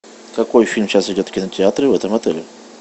какой фильм сейчас идет в кинотеатре в этом отеле